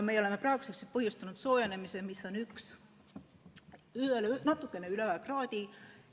Me oleme praeguseks põhjustanud kliima soojenemise keskmiselt natukene üle 1 kraadi.